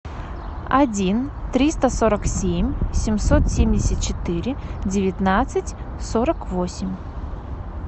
один триста сорок семь семьсот семьдесят четыре девятнадцать сорок восемь